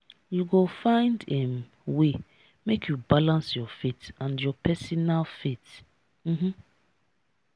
you go find um way make you balance your faith and your personal faith. um